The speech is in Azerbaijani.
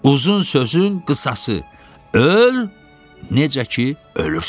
Uzun sözün qısası: öl, necə ki, ölürsən.